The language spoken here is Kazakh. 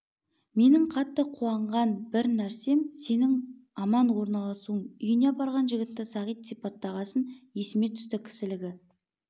менің қатты қуанған бір нәрсем сенің аман орналасуың үйіне апарған жігітті сағит сипаттағасын есіме түсті кісілігі